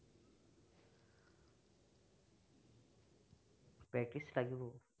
practice লাগিব।